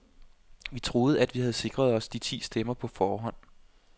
Vi troede, at vi havde sikret os de ti stemmer på forhånd.